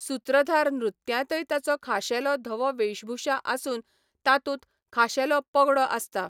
सूत्रधार नृत्यांतय ताचो खाशेलो धवो वेशभूषा आसून तातूंत खाशेलो पगडो आसता.